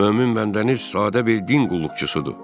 Mömin bəndəniz sadə bir din qulluqçusudur.